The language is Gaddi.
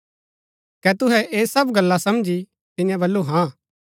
कै तुहै ऐह सब गल्ला समझी तिन्यै बल्लू हाँ